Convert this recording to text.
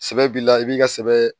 Sɛbɛ b'i la i b'i ka sɛbɛ